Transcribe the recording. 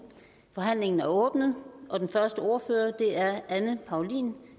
forhandlingen er åbnet og den første ordfører er anne paulin